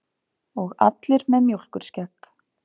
Og allir með mjólkurskegg.